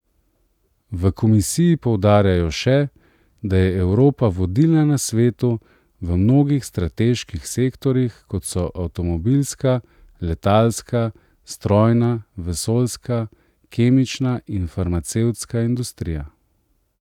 V komisiji poudarjajo še, da je Evropa vodilna na svetu v mnogih strateških sektorjih, kot so avtomobilska, letalska, strojna, vesoljska, kemična in farmacevtska industrija.